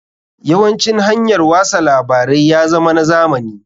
Yawancin hanyar wasa labarai ya zama na zamani.